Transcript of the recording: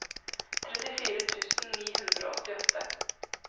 trettifire tusen ni hundre og åttiåtte